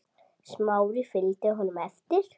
Smári fylgdi honum eftir.